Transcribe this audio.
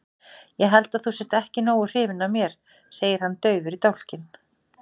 Ég held að þú sért ekki nógu hrifin af mér, segir hann daufur í dálkinn.